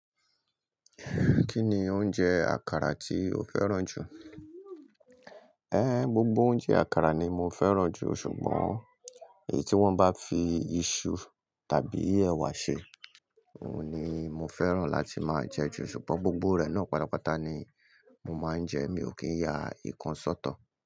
Kí ni oúnjẹ àkàrà tí o fẹ́ràn jù? Ẹn, gbogbo oúnjẹ àkàrà ni mo fẹ́ràn jù ṣùgbọ́n èyí tí wọ́n bá fi iṣu tàbí ẹ̀wà ṣe, òun ni mo fẹ́ràn láti máa jẹ jù ṣùgbọ́n gbogbo rẹ̀ náà pátápátá ni mo máa ń jẹ, mi ò kí ń ya nǹkan sọ́tọ.